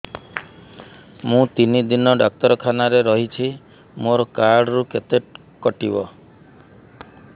ମୁଁ ତିନି ଦିନ ଡାକ୍ତର ଖାନାରେ ରହିଛି ମୋର କାର୍ଡ ରୁ କେତେ କଟିବ